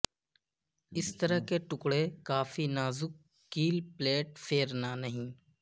اس طرح کے ٹکڑے کافی نازک کیل پلیٹ فیرنا نہیں